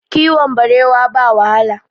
Kiwon barewa ba wahala